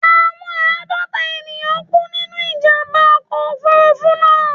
Àwọn àádọ́ta ènìyàn kú nínú ìjàmbá ọkọ̀ Òfurufú náà.